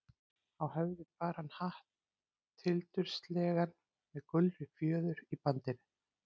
Á höfði bar hann hatt, tildurslegan með gulri fjöður í bandinu.